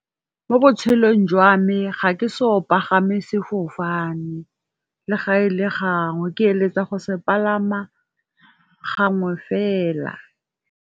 Mo botshelong jwa me ga ke so o pagame sefofane, le ga e le gangwe ke eletsa go se palama gangwe fela.